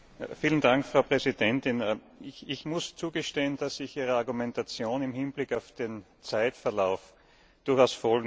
Frau Präsidentin! Ich muss eingestehen, dass ich Ihrer Argumentation im Hinblick auf den Zeitverlauf durchaus folgen kann.